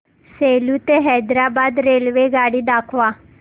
सेलू ते हैदराबाद रेल्वेगाडी दाखवा